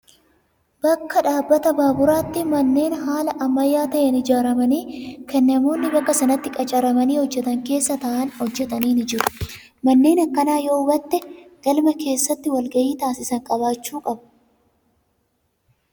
Bakka dhaabbata baaburaatti manneen haala ammayyaa ta'een ijaaramanii kan namoonni bakka sanatti qacaramanii hojjatan keessa taa'anii hojjatan ni jiru. Manneen akkanaa yoo hubatte galma keessatti wal gahii taasisan qabaachuu qabu.